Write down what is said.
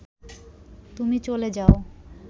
তুমি চলে যাও